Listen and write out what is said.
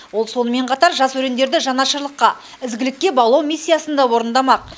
ол сонымен қатар жас өрендерді жанашырлыққа ізгілікке баулу миссиясын да орындамақ